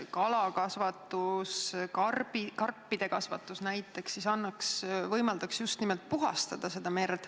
Kalakasvatus, näiteks karpide kasvatus võimaldaks aga merd puhastada.